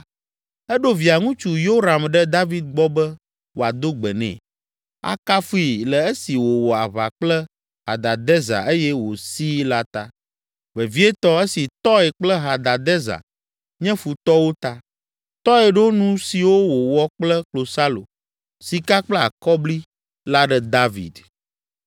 eɖo Via ŋutsu Yoram ɖe David gbɔ be wòado gbe nɛ, akafui le esi wòwɔ aʋa kple Hadadezer eye wòsii la ta, vevietɔ, esi Tɔi kple Hadadezer nye futɔwo ta. Tɔi ɖo nu siwo wowɔ kple klosalo, sika kple akɔbli la ɖe David.